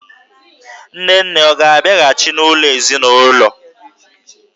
Nne nne ọ ga-abịghachị n'ụlọ ezinụlọ?